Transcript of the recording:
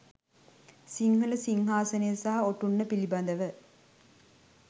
සිංහල සිංහාසනය සහ ඔටුන්න පිළිබඳ